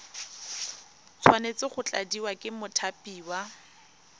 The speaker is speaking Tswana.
tshwanetse go tladiwa ke mothapiwa